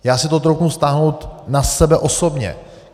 Já si to troufnu vztáhnout na sebe osobně.